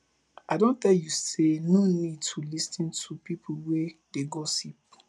i don tell you sey you no need to lis ten to pipo wey dey gossip